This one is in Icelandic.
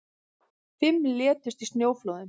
Fimm létust í snjóflóðum